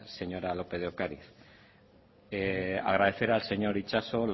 señora lópez de ocariz agradecer al señor itxaso